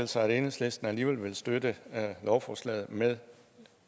sig at enhedslisten alligevel ville støtte lovforslaget med